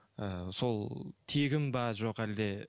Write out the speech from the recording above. ы сол тегін бе жоқ әлде